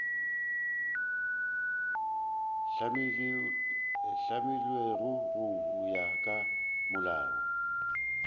hlamilwego go ya ka molao